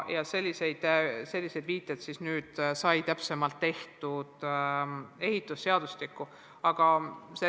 Ja sellised viited sai nüüd ehitusseadustikku tehtud.